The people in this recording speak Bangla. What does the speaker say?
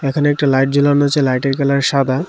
এখানে একটা লাইট জ্বালানো আছে লাইটের কালার সাদা।